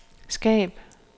skab